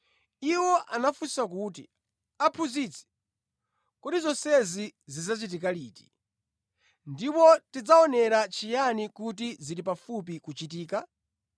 Iwo anafunsa kuti, “Aphunzitsi, kodi zonsezi zidzachitika liti? Ndipo tidzaonera chiyani kuti zili pafupi kuchitika?”